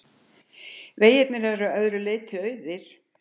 Veggirnir að öðru leyti auðir.